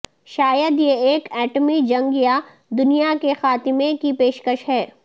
شاید یہ ایک ایٹمی جنگ یا دنیا کے خاتمے کی پیشکش کی